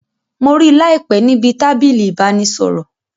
Mo rí láìpé níbi tábìlì ìbánisọ̀rọ̀